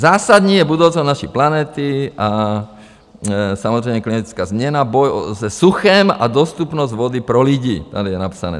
Zásadní je budoucnost naší planety a samozřejmě klinická změna, boj se suchem a dostupnost vody pro lidi, tady je napsané.